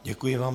Děkuji vám.